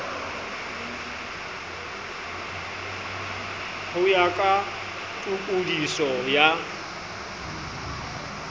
ho ya ka tokodiso ya